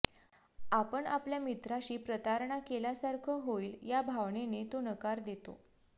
आपण आपल्या मित्राशी प्रतारणा केल्यासारखं होईल या भावनेने तो नकार देतो